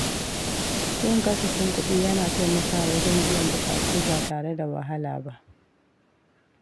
Yin kasafin kuɗi yana taimakawa wajen biyan buƙatu ba tare da wahala ba.